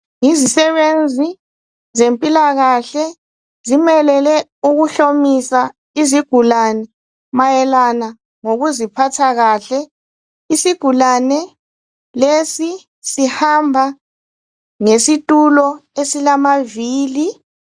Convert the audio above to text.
Yizisebenzi zempilakahle zimelele ukuhlolmsa izigulane mayelana ngokuziphathakahle isigulane lesi sihamba ngesitula esilamavili.